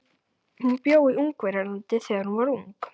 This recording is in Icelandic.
Hún bjó í Ungverjalandi þegar hún var ung.